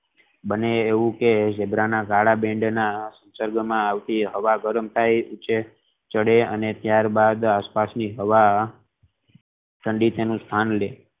બને એવું કે ઝીબ્રા ના કાલા bend માં આવતી હવા ગરમ થઈ ઉંચે ચડે અને ત્યાર બાદ આસપાસ ની હવા ઠંડી તેનું સ્થાન લેઈ